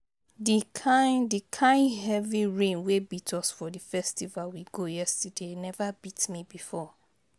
The kyn The kyn heavy rain wey beat us for the festival we go yesterday never beat me before